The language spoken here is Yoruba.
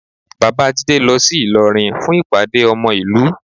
Bàbá Jídé lọ sí Ìlọrin fún ìpàdé ọmọ ìlú